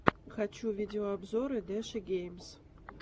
хочу видеообзоры дэши геймс